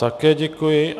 Také děkuji.